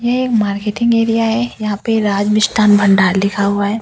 ये marketing area है यहाँ पे राज मिस्ठान भंडार लिखा हुआ है।